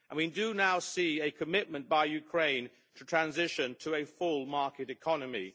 We do now see a commitment by Ukraine to transition to a full market economy.